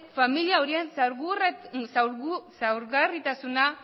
familia horien ezaugarritasuna